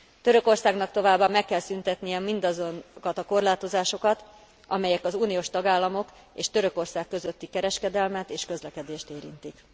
Törökországnak továbbá meg kell szüntetnie mindazokat a korlátozásokat, amelyek az uniós tagállamok és Törökország közötti kereskedelmet és közlekedést érintik.